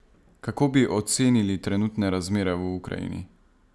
Kako bi ocenili trenutne razmere v Ukrajini?